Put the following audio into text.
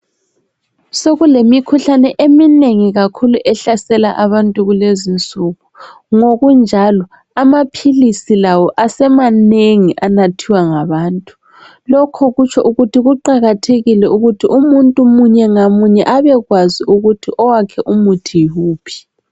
Sokulemikhuhlane eminengi kakhulu ehlasela abantu kulezinsuku. Ngokunjalo amaphilisi lawo asemanengi anathiwa ngabantu. Lokho kutsho ukuthi kuqakathekile ukuthi umuntu munye ngamunye abekwazi ukuthi owakhe umuthi yiwuphi.